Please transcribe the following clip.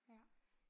Ja